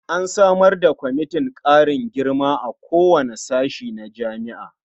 An samar da kwamitin ƙarin girma a kowane sashe na jami'a.